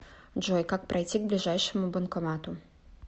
джой как пройти к ближайшему банкомату